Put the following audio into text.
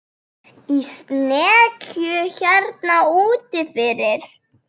Í snekkju hérna úti fyrir!